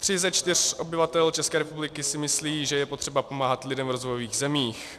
Tři ze čtyř obyvatel ČR si myslí, že je potřeba pomáhat lidem v rozvojových zemích.